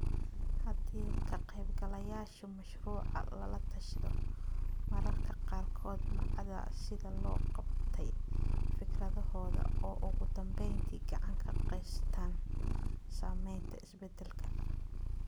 Haddii ka-qaybgalayaasha mashruuca lala tashado, mararka qaarkood ma cadda sida loo qabtay fikradahooda oo ugu dambeyntii gacan ka geystaan ??samaynta isbeddelka.